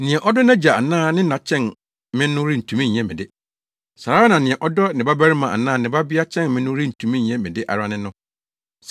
“Nea ɔdɔ nʼagya anaa ne na kyɛn me no rentumi nyɛ me de. Saa ara na nea ɔdɔ ne babarima anaa ne babea kyɛn me no rentumi nyɛ me de ara ne no.